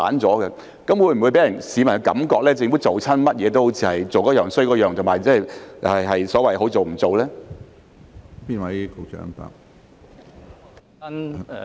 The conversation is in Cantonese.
這會否令市民覺得政府做甚麼都做得差，是所謂"好做唔做"呢？